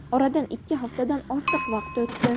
Oradan ikki haftadan ortiq vaqt o‘tdi.